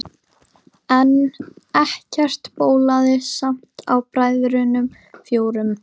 En ekkert bólaði samt á bræðrunum fjórum.